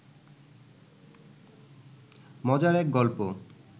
মজার এক গল্প